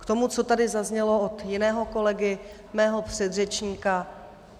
K tomu, co tady zaznělo od jiného kolegy, mého předřečníka.